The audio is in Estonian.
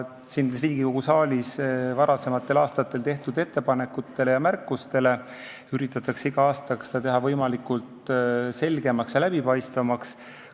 Siin Riigikogu saalis varasematel aastatel tehtud ettepanekute ja märkuste abil üritatakse iga aastaga teha seda selgemaks ja läbipaistvamaks.